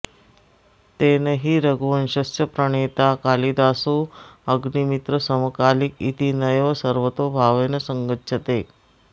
तेन हि रघुवंशस्य प्रणेता कालिदासोऽग्निमित्रसमकालिक इति नैव सर्वतोभावेन सङ्गच्छते